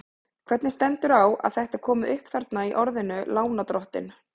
Hvernig stendur þá á að þetta er komi upp þarna í orðinu lánardrottinn?